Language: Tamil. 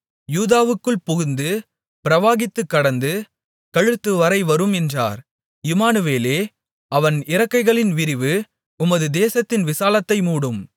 யூதாவுக்குள் புகுந்து பிரவாகித்துக் கடந்து கழுத்துவரை வரும் என்றார் இம்மானுவேலே அவன் இறக்கைகளின் விரிவு உமது தேசத்தின் விசாலத்தை மூடும்